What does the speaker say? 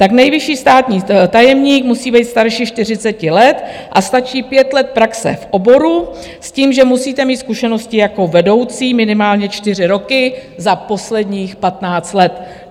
Tak nejvyšší státní tajemník musí být starší 40 let a stačí 5 let praxe v oboru s tím, že musíte mít zkušenosti jako vedoucí minimálně 4 roky za posledních 15 let.